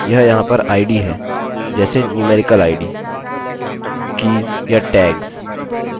यह यहाँ पर id आईडीहैं जैसे numerical idसंख्यात्मक आईडीkeysकीज़ या tagsटैग्स